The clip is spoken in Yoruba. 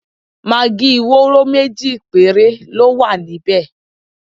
Magí wóró méjì péré ló wà níbẹ̀.